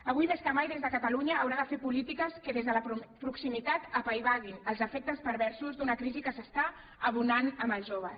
avui més que mai catalunya haurà de fer polítiques que des de la proximitat apaivaguin els efectes perversos d’una crisi que s’està abonant amb els joves